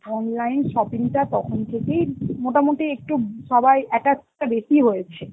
online shopping টা তখন থেকেই মোটামুটি একটু সবাই attach টা বেশি হয়েছে.